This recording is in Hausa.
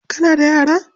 Kana da yara?